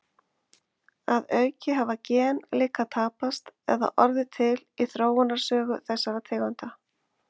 Að auki hafa gen líka tapast eða orðið til í þróunarsögu þessara tegunda.